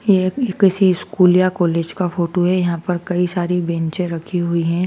यह किसी स्कूल या कॉलेज का फोटो है यहां पर कई सारी बेचें रखी हुई है।